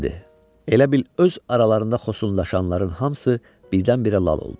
Elə bil öz aralarında xosunlaşanların hamısı birdən-birə lal oldu.